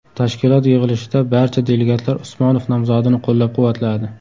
Tashkilot yig‘ilishida barcha delegatlar Usmonov nomzodini qo‘llab-quvvatladi.